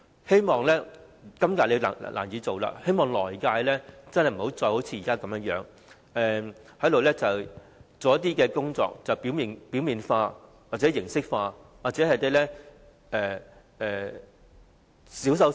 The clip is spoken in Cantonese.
對於今次難以做到的工作，希望在下一份施政報告中，政府不會再只是提出一些表面化或形式化的措施，或是進行小修小補。